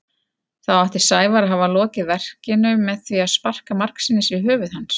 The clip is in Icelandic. Þá átti Sævar að hafa lokið verkinu með því að sparka margsinnis í höfuð hans.